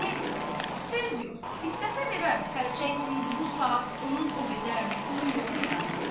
Yəni söz yox, istəsə verər xərçəng indi bu saat onun o qədər pulu yox idi axı.